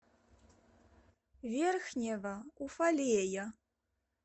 верхнего уфалея